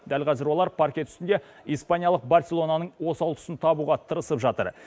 дәл қазір олар паркет үстінде испаниялық барселонаның осал тұсын табуға тырысып жатыр